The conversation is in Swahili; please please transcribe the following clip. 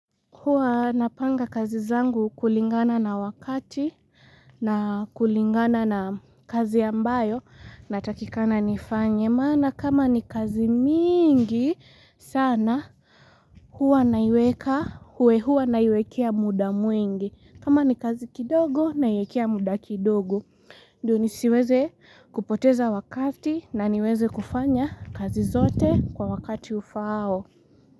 Huwa napanga kazi zangu kulingana na wakati na kulingana na kazi ambayo natakikana nifanye. Maana kama ni kazi mingi sana huwa naiweka huwe huwa naiwekea muda mwingi. Kama ni kazi kidogo na iwekea muda kidogo. Ndiyo nisiweze kupoteza wakati na niweze kufanya kazi zote kwa wakati ufaao.